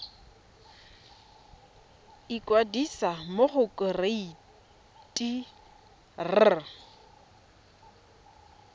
ikwadisa mo go kereite r